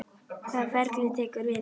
Hvaða ferli tekur við?